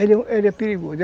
Ele ele é perigoso.